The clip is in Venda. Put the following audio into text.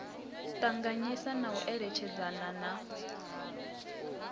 ṱanganyisa na u eletshedzana na